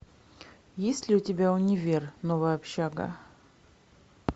есть ли у тебя универ новая общага